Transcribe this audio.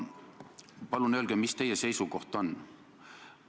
Palun öelge, mis teie seisukoht on!